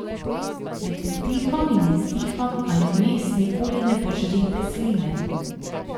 Med vdihom in izdihom ali vmes nikoli ne požrite sline.